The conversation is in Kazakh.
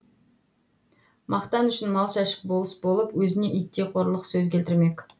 мақтан үшін мал шашып болыс болып өзіне иттей қорлық сөз келтірмек